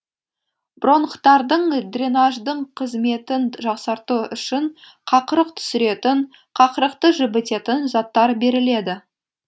бронхтардың дренаждың қызметін жақсарту үшін қақырық түсіретін қақырықты жібітетін заттар беріледі